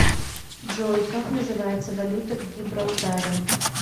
джой как называется валюта в гибралтаре